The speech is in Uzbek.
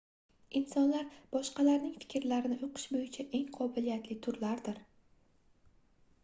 insonlar boshqalarning fikrlarini oʻqish boʻyicha eng qobiliyatli turlardir